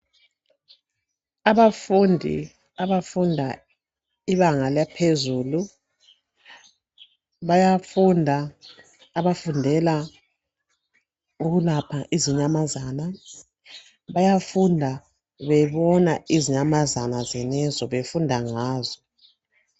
Abafundi abafunda ibanga laphezulu, bayafunda abafundela ukulapha izinyamazana. Bayafunda bebona izinyamazana zenezo, befunda ngazo.